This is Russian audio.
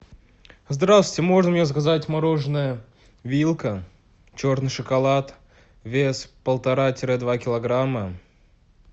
здравствуйте можно мне заказать мороженое вилка черный шоколад вес полтора тире два килограмма